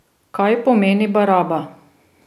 Kaj pomeni baraba?